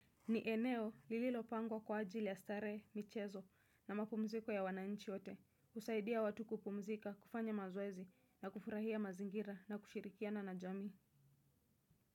Ni eneo lililopangwa kwa ajili ya starehe, michezo na mapumziko ya wananchi wote. Usaidia watu kupumzika, kufanya mazoezi na kufurahia mazingira na kushirikiana na jamii.